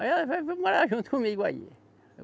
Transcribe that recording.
Aí ela veio morar junto comigo aí.